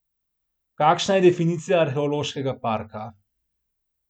Kakšna je definicija arheološkega parka?